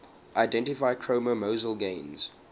identify chromosomal gains